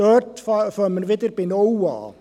Dort beginnen wir wieder bei null.